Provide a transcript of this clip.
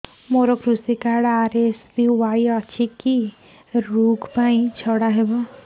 ମୋର କୃଷି card RSBY ଅଛି କି କି ଋଗ ପାଇଁ ଛାଡ଼ ହବ